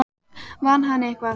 Vann hann eitthvað?